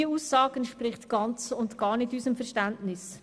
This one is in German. Diese Aussage entspricht ganz und gar nicht unserem Verständnis.